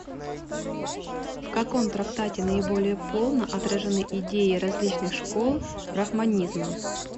в каком трактате наиболее полно отражены идеи различных школ брахманизма